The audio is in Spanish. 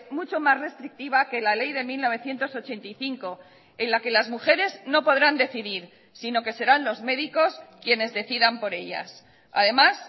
mucho más restrictiva que la ley de mil novecientos ochenta y cinco en la que las mujeres no podrán decidir sino que serán los médicos quienes decidan por ellas además